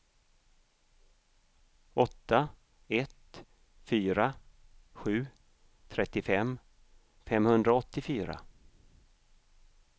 åtta ett fyra sju trettiofem femhundraåttiofyra